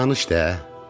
Ə danış də!